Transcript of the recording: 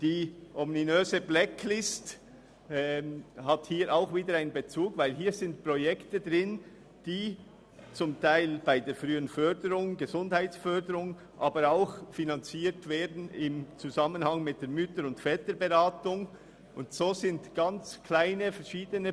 Auch da besteht wieder ein Bezug zur ominösen Blacklist, denn hier sind verschiedene, ganz kleine Projekte enthalten, die teilweise bei der frühen Gesundheitsförderung oder im Zusammenhang mit der Mütter- und Väterberatung finanziert werden.